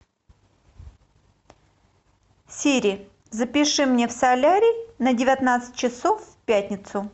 сири запиши мне в солярий на девятнадцать часов в пятницу